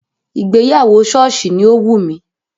Ìgbéyàwó sọ́ọ̀sì ni ó wù mí